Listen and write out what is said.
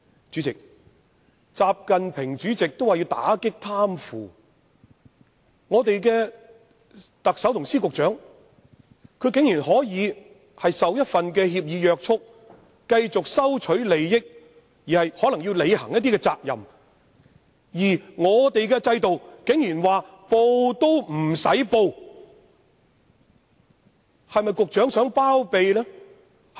主席，習近平主席也表示要打擊貪腐，但我們的特首及司局長竟然可以受一份協議約束，繼續收取利益而可能要履行一些責任，而在本港制度下，他們竟然甚至不用申報。